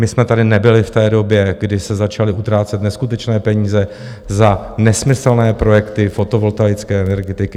My jsme tady nebyli v té době, kdy se začaly utrácet neskutečné peníze za nesmyslné projekty fotovoltaické energetiky.